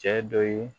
Cɛ dɔ ye